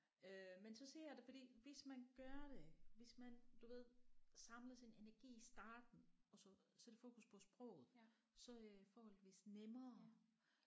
Øh men så siger jeg det fordi hvis man gør det hvis man du ved samler sin energi i starten og så sætter fokus på sproget så er det forholdsvis nemmere